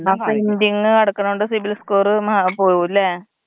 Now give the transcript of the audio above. ആ പെൻഡിങ്ങ് കെടക്കുന്നത് കൊണ്ട് സിബിൽ സ്കോർ പോവുല്ലെ?